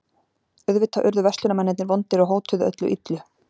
Auðvitað urðu verslunarmennirnir vondir og hótuðu öllu illu.